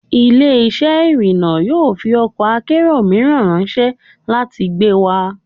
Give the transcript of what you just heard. Ile-iṣẹ irinna yoo fi ọkọ akero miiran ranṣẹ lati gbe wa